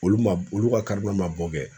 Olu ma olu ka ma bɔ kɛ.